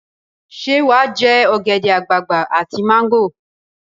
Ṣé wà á jẹ ogèdè-agbagbà àti mango?